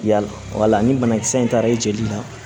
Yala ni banakisɛ in taara i jeli la